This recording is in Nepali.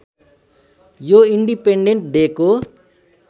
यो इन्डिपेटेन्ड डेको